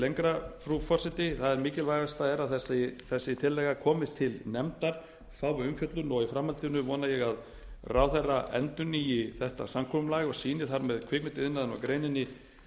lengra frú forseti það mikilvægast er að þessi tillaga komist til nefndar fái umfjöllun og í framhaldinu vona ég að ráðherra endurnýi þetta samkomulag og sýni þar með kvikmyndaiðnaðinum og greininni